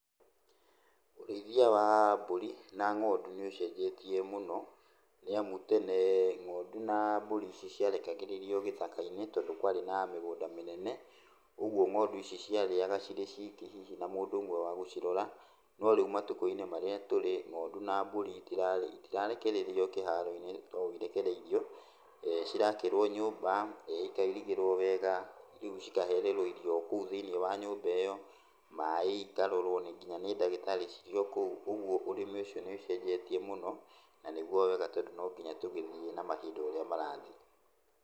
Ũrĩithia wa mbũri na ng'ondu nĩ ũcenjetie mũno, nĩamu tene ng'ondu na mbũri ici ciarekagĩrĩrio gĩthaka-inĩ tondũ kwarĩ na mĩgũnda mĩnene, ũguo ng'ondu ici ciarĩaga cirĩ ciki hihi na mũndũ ũmwe wa gũcirora. No rĩu matukũ-inĩ marĩa tũrĩ ng'ondu na mbũri itirarekererio kĩharo-inĩ ta ũũ irekereirio. Cirakĩrũo nyũmba, ikairigĩrwo wega, rĩu cikahererwo irio kũu thĩiniĩ wa nyũmba ĩyo. Maĩ ikarorwo kinya nĩ ndagĩtarĩ cirĩ o kũu, ũguo ũrĩmi ũcio nĩũcenjeteie mũno na nĩguo wega tondũ no nginya tũgĩthiĩ na mahinda ũrĩa marathiĩ.